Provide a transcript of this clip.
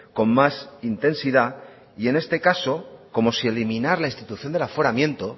con más intensidad y en este caso como si eliminar la institución del aforamiento